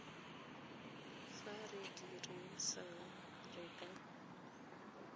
fa re dirisana re ka